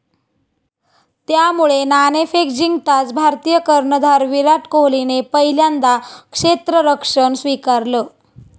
त्यामुळे नाणेफेक जिंकताच भारतीय कर्णधार विराट कोहलीने पहिल्यांदा क्षेत्ररक्षण स्वीकारलं.